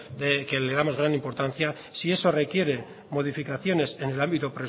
que le damos gran importancia si eso requiere modificaciones en el ámbito